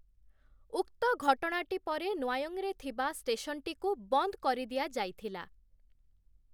ଉକ୍ତ ଘଟଣାଟି ପରେ ନ୍ୱାୟଁରେ ଥିବା ଷ୍ଟେସନ୍‌ଟିକୁ ବନ୍ଦ କରିଦିଆଯାଇଥିଲା ।